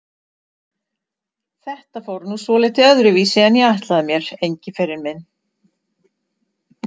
Þetta fór nú svolítið öðruvísi en ég ætlaði mér, Engiferinn minn.